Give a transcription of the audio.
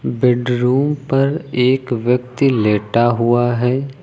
Bedroom पर एक व्यक्ति लेटा हुआ है।